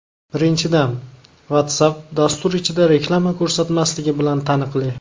Birinchidan, WhatsApp dastur ichida reklama ko‘rsatmasligi bilan taniqli.